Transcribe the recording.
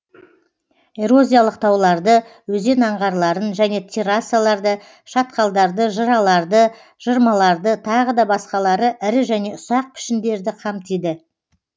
эрозиялық тауларды өзен аңғарларын және террасаларды шатқалдарды жыраларды жырмаларды тағы да басқалары ірі және ұсақ пішіндерді қамтиды